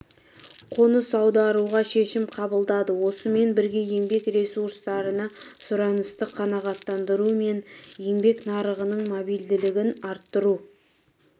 қоныс аударуға шешім қабылдады осымен бірге еңбек ресурстарына сұранысты қанағаттандыру мен еңбек нарығының мобильділігін арттыру